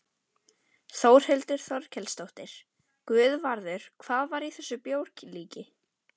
Þórhildur Þorkelsdóttir: Guðvarður, hvað var í þessu bjórlíki?